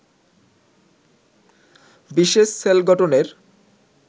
বিশেষ সেল গঠনের